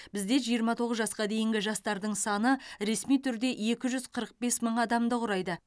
бізде жиырма тоғыз жасқа дейінгі жастардың саны ресми түрде екі жүз қырық бес мың адамды құрайды